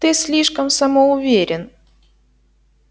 ты слишком самоуверен